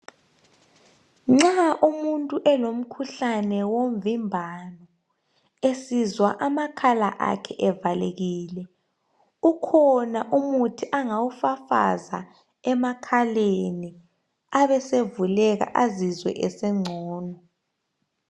Nxa umuntu elomkhuhlane womvimbano Esizwa amakhala akhe evalekile ukhona umuthi angawufafaza emakhaleni abesevuleka azizwe esengcono.